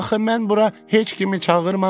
Axı mən bura heç kimi çağırmamışam.